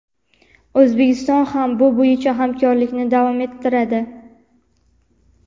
O‘zbekiston ham bu bo‘yicha hamkorlikni davom ettiradi.